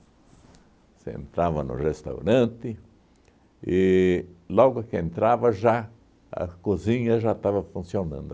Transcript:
Você entrava no restaurante e, logo que entrava já a cozinha já estava funcionando.